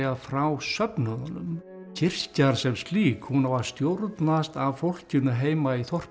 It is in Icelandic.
frá söfnuðunum kirkja sem slík hún á að stjórnast af fólkinu heima í þorpinu